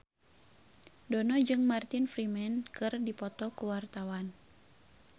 Dono jeung Martin Freeman keur dipoto ku wartawan